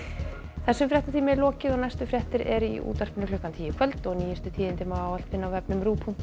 þessum fréttatíma er lokið næstu fréttir eru í útvarpi klukkan tíu í kvöld og nýjustu fréttir má alltaf finna á rúv punktur